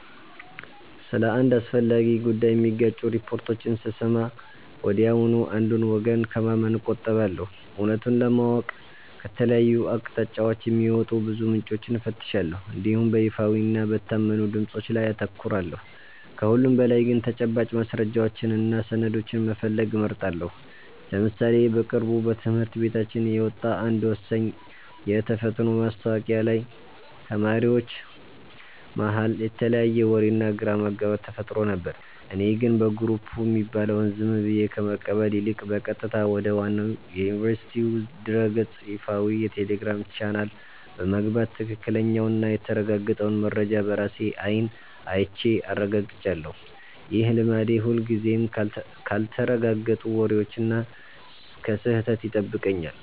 ስለ አንድ አስፈላጊ ጉዳይ የሚጋጩ ሪፖርቶችን ስሰማ ወዲያውኑ አንዱን ወገን ከማመን እቆጠባለሁ። እውነቱን ለማወቅ ከተለያዩ አቅጣጫዎች የሚወጡ ብዙ ምንጮችን እፈትሻለሁ እንዲሁም በይፋዊና በታመኑ ድምፆች ላይ አተኩራለሁ። ከሁሉም በላይ ግን ተጨባጭ ማስረጃዎችንና ሰነዶችን መፈለግ እመርጣለሁ። ለምሳሌ በቅርቡ በትምህርት ቤታችን የወጣ አንድ ወሳኝ የተፈትኖ ማስታወቂያ ላይ ተማሪዎች መሃል የተለያየ ወሬና ግራ መጋባት ተፈጥሮ ነበር። እኔ ግን በየግሩፑ የሚባለውን ዝም ብዬ ከመቀበል ይልቅ፣ በቀጥታ ወደ ዋናው የዩኒቨርሲቲው ድረ-ገጽና ይፋዊ የቴሌግራም ቻናል በመግባት ትክክለኛውንና የተረጋገጠውን መረጃ በራሴ አይን አይቼ አረጋግጫለሁ። ይህ ልማዴ ሁልጊዜም ካልተረጋገጡ ወሬዎችና ከስህተት ይጠብቀኛል።